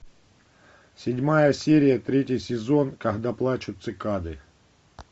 седьмая серия третий сезон когда плачут цикады